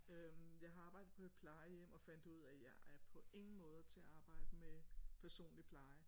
Øh jeg har arbejdet på et plejehjem og fandt ud af at jeg er på ingen måder til at arbejde med personlig pleje